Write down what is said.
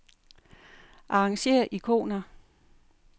Arrangér ikoner.